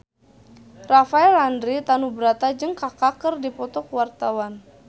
Rafael Landry Tanubrata jeung Kaka keur dipoto ku wartawan